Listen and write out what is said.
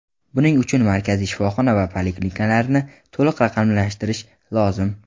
Buning uchun markaziy shifoxona va poliklinikalarni to‘liq raqamlashtirish lozim.